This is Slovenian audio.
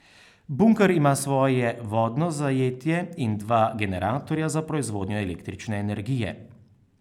Bunker ima svoje vodno zajetje in dva generatorja za proizvodnjo električne energije.